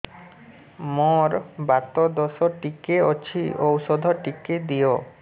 ମୋର୍ ବାତ ଦୋଷ ଟିକେ ଅଛି ଔଷଧ ଟିକେ ଦିଅ